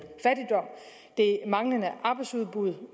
det manglende arbejdsudbud